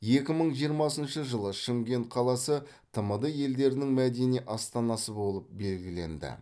екі мың жиырмасыншы жылы шымкент қаласы тмд елдерінің мәдени астанасы болып белгіленді